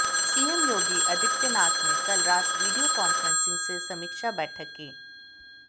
CM Yogi Adityanath ने कल रात वीडियो कॉन्फ्रेंसिंग से समीक्षा बैठक की